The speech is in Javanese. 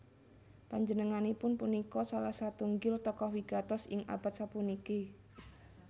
Panjenenganipun punika salah satunggil tokoh wigatos ing abad sapuniki